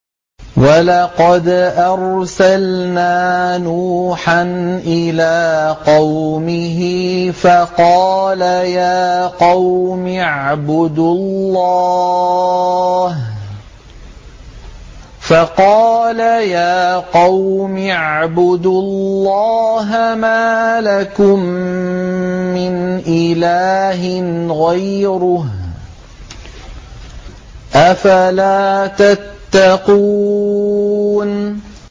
وَلَقَدْ أَرْسَلْنَا نُوحًا إِلَىٰ قَوْمِهِ فَقَالَ يَا قَوْمِ اعْبُدُوا اللَّهَ مَا لَكُم مِّنْ إِلَٰهٍ غَيْرُهُ ۖ أَفَلَا تَتَّقُونَ